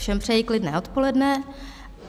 Všem přeji klidné odpoledne.